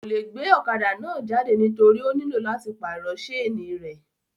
Kò le gbe ọ̀kadà náà jáde nítorí ó nílò láti pàrọ̀ sénì rẹ̀